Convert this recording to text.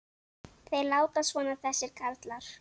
Þeir láta svona þessir karlar.